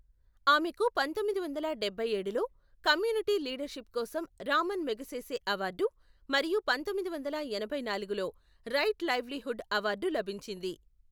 ఆమెకు పంతొమ్మిది వందల డబ్బై ఏడులో కమ్యూనిటీ లీడర్షిప్ కోసం రామన్ మెగసెసే అవార్డు మరియు పంతొమ్మిది వందల ఎనభై నాలుగులో రైట్ లైవ్లీహుడ్ అవార్డు లభించింది.